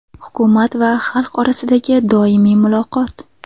Hukumat va xalq orasidagi doimiy muloqot.